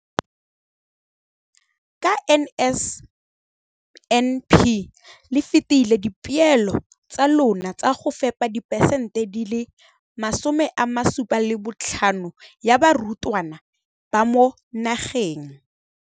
Ka NSNP le fetile dipeelo tsa lona tsa go fepa masome a supa le botlhano a diperesente ya barutwana ba mo nageng.